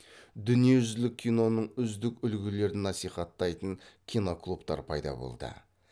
дүниежүзілік киноның үздік үлгілерін насихаттайтын киноклубтар пайда болды